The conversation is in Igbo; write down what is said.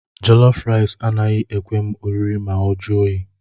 Jọlọf raịs anaghị ekwe m oriri ma ọ jụọ oyi